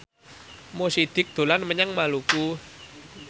Mo Sidik dolan menyang Maluku